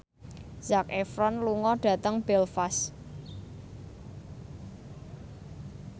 Zac Efron lunga dhateng Belfast